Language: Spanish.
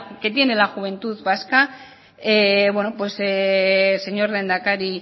que tiene la juventud vasca señor lehendakari